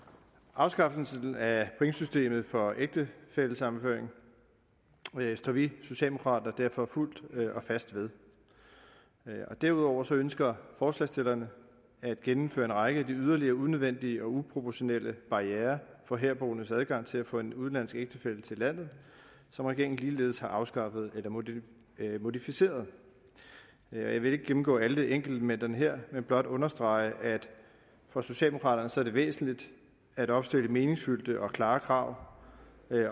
afskaffelsen af pointsystemet for ægtefællesammenføring står vi socialdemokrater derfor fuldt og fast ved derudover ønsker forslagsstillerne at gennemføre en række af de yderligere unødvendige og uproportionale barrierer for herboendes adgang til at få en udenlandsk ægtefælle til landet som regeringen ligeledes har afskaffet eller modificeret jeg vil ikke gennemgå alle enkeltelementerne her men blot understrege at for socialdemokraterne er det væsentligt at opstille meningsfyldte og klare krav